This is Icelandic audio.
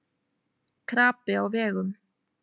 Krapi á vegum